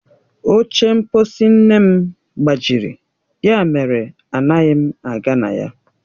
Oche mkposi nne m gbajiri, ya mere anaghị m aga na ya.